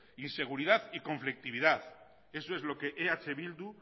inseguridad y conflictividad eso es lo que eh bildu